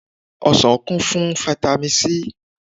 Ọsàn kún fún fáítámì sí.